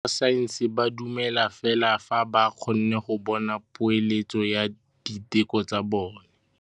Borra saense ba dumela fela fa ba kgonne go bona poeletsô ya diteko tsa bone.